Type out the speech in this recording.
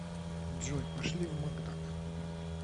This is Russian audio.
джой пошли в макдак